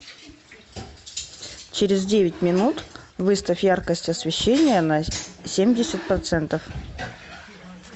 через девять минут выставь яркость освещения на семьдесят процентов